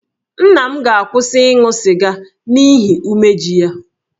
Nna m ga-akwụsị ịṅụ sịga n'ihi umeji ya